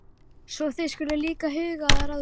Svo þið skuluð líka huga að ráðgátu.